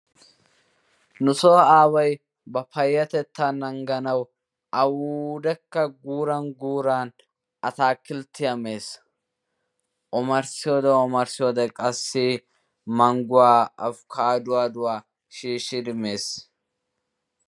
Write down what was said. Nu so aaway ba payatetta nangganwu awudekka guuran guuran atakilttiya mees. Omarsiyodde omarsiyodde qassi mangguwa appukaduwadowa shiishidi mees.